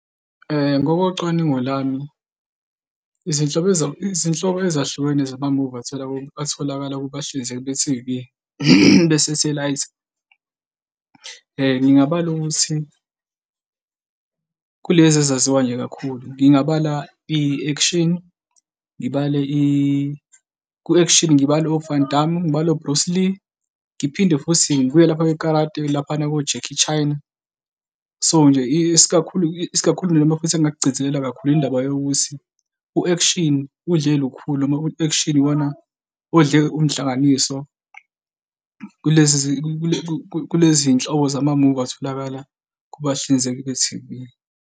Ngokocwaningo lami, izinhlobo, izinhlobo ezahlukene zamamuvi atholakala, atholakala kubahlinzeki be-T_V besethelayithi ngingabala ukuthi kulezi ezaziwa nje kakhulu ngingabala i-action, ngibale ku-action ngibale o-Van Damme, ngibale o-Bruce Lee, ngiphinde futhi ngibuye lapha ko-karate-ke laphana ko-Jackie Chan, yabo nje isikakhulu, isikakhulu noma futhi engingakugcizelela kakhulu indaba yokuthi u-action udle lukhuluma noma u-action, iwona odle umhlanganiso kulezi kuleziy'nhlobo zamamuvi atholakala kubahlinzeki be-T_V.